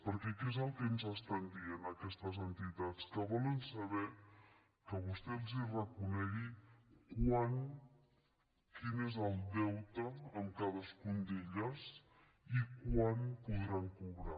perquè què és el que ens estan dient aquestes entitats que volen saber que vostè els ho reconegui quin és el deute amb cadascuna d’elles i quan podran cobrar